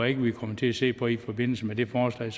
ikke vi kommer til at se på i forbindelse med det forslag